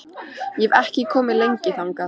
Ég hef ekki komið þangað lengi.